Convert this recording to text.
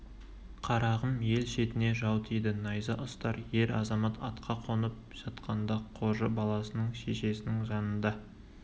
қарағым ел шетіне жау тиді найза ұстар ер-азамат атқа қонып жатқанда қожы баласының шешесінің жанында